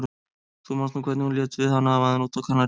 Þú manst nú hvernig hún lét við hann afa þinn úti á Kanarí.